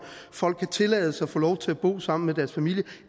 folk kan tillades at få lov at bo sammen med deres familie